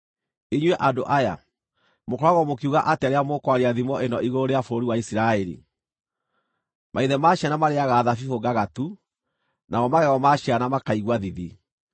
“Inyuĩ andũ aya, mũkoragwo mũkiuga atĩa rĩrĩa mũkwaria thimo ĩno igũrũ rĩa bũrũri wa Isiraeli: “ ‘Maithe ma ciana marĩĩaga thabibũ ngagatu, namo magego ma ciana makaigua thithi’?